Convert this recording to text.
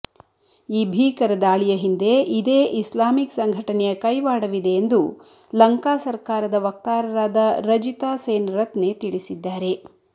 ಈ ಭೀಕರ ದಾಳಿಯ ಹಿಂದೆ ಇದೇ ಇಸ್ಲಾಮಿಕ್ ಸಂಘಟನೆಯ ಕೈವಾಡವಿದೆ ಎಂದು ಲಂಕಾ ಸರಕಾರದ ವಕ್ತಾರರಾದ ರಜಿತ ಸೇನರತ್ನೆ ತಿಳಿಸಿದ್ದಾರೆ